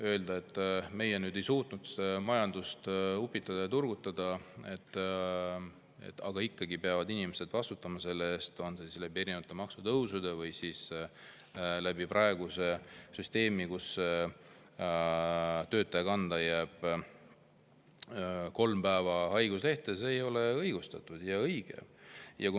Öelda, et meie ei suutnud majandust upitada ja turgutada, aga ikkagi peavad inimesed selle eest vastutama – on see erinevate maksutõusude või praeguse süsteemi kaudu, kus töötaja kanda jääb kolm haiguslehe päeva –, ei ole õigustatud ega õige.